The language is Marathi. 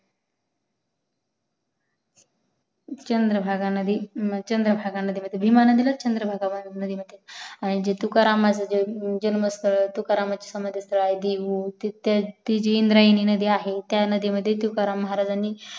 चंद्रभागा नदी चंद्रभागा नदी म्हणजेच भीमा नदीलाच चंद्रभागा नदी म्हणतात आणि जे तुकारामचा जन्म स्थळ आहे ही जी इंद्रायणी नदी आहे त्या नदी मध्ये तुकाराम महाराजणी